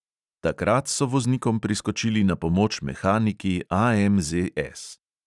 Takrat so voznikom priskočili na pomoč mehaniki AMZS.